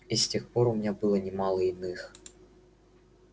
с тех пор у меня было немало иных